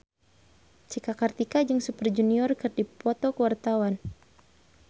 Cika Kartika jeung Super Junior keur dipoto ku wartawan